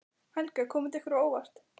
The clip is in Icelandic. Helga: Kom þetta ykkur á óvart?